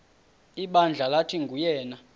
ibandla lathi nguyena